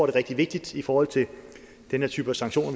er rigtig vigtigt i forhold til den her type sanktioner